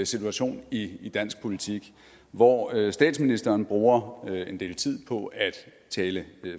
situation i i dansk politik hvor statsministeren bruger en del tid på at tale